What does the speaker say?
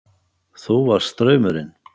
Þú varst straumurinn.